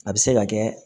A bɛ se ka kɛ